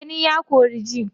Gani ya kori ji.